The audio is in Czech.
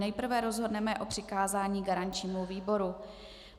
Nejprve rozhodneme o přikázání garančnímu výboru.